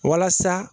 Walasa